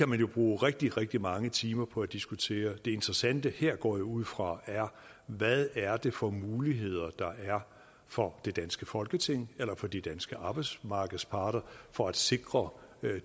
man jo bruge rigtig rigtig mange timer på at diskutere det interessante her går jeg ud fra er hvad det er for muligheder der er for det danske folketing eller for de danske arbejdsmarkedsparter for at sikre